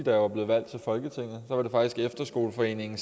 jeg var blevet valgt til folketinget og efterskoleforeningen